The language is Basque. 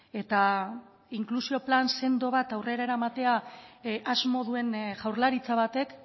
eta inklusio plan sendo bat aurrera eramatea asmo duen jaurlaritza batek